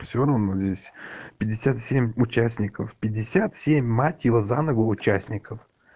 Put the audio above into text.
все равно здесь пятьдесят семь участников пятьдесят семь мать его за ногу участников